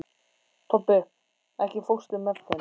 Tobbi, ekki fórstu með þeim?